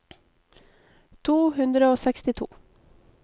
to hundre og sekstito